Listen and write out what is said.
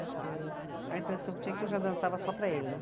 Porque a impressão que eu tinha é que eu já dançava só para ele, né?